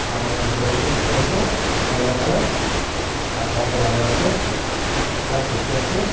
aru bithor tae vi dekhi ase yellow colour aru tai half pant lagai na ase glass dekhi ase.